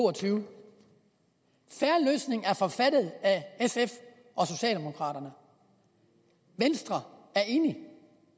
og tyve er forfattet af sf og socialdemokraterne venstre er enig